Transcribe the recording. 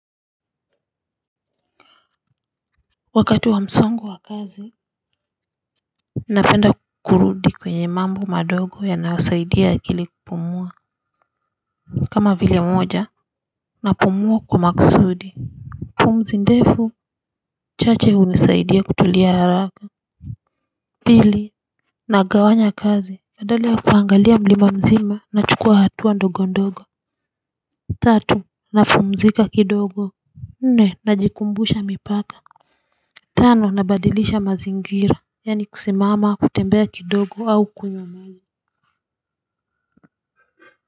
Wakati wa msongo wa kazi ninapenda kurudi kwenye mambo madogo yanayosaidia akili kupumua. Kama vile mmoja napumua kwa makusudi. Pumzi ndefu chache hunisaidia kutulia haraka. Pili nagawanya kazi badala ya kuangalia mlima mzima nachukua hatua ndogo ndogo. Tatu na pumzika kidogo. Nne na jikumbusha mipaka. Tano nabadilisha mazingira. Yani kusimama kutembea kidogo au kuyumali.